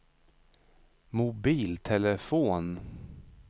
mobiltelefon